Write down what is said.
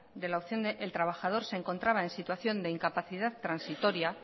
de la opción el trabajador se encontraba en situación de incapacidad transitoria